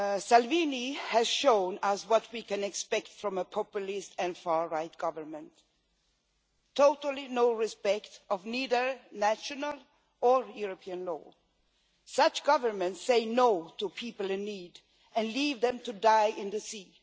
Salvini has shown us what we can expect from a populist and far right government absolutely no respect for either national or European law. Such governments say no to people in need and leave them to die in the sea.